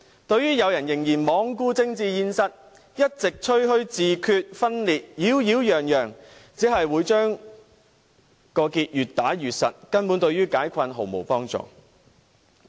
對於有人仍然罔顧政治現實，一直擾擾攘攘地吹噓自決、分裂，只會將結越打越實，根本對於解困毫無幫助。